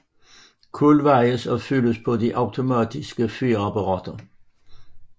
Kul vejes og fyldes på de automatiske fyrapparater